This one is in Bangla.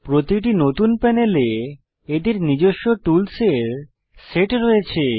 প্রতিটি নতুন প্যানেলে এদের নিজস্ব টুলসের সেট রয়েছে